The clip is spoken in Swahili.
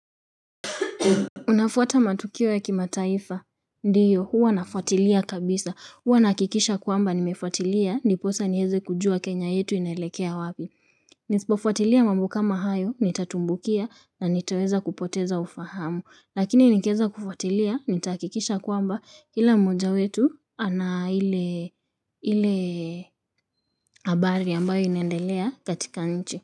Unafuata matukio ya kimataifa? Ndio huwa nafuatilia kabisa. Huwa nahakikisha kwamba nimefuatilia ndiposa niweze kujua Kenya yetu inelekea wapi. Nisipofuatilia mambo kama hayo, nitatumbukia na niteweza kupoteza ufahamu. Lakini nikiweza kufuatilia nitahakikisha kwamba, kila mmoja wetu ana ile ile habari ambayo inaendelea katika nchi.